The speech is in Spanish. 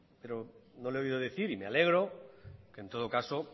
pero no le he oído decir y me alegro que en todo caso